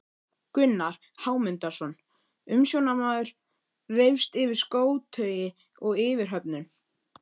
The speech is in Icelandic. Gunnar Hámundarson umsjónarmaður reifst yfir skótaui og yfirhöfnum.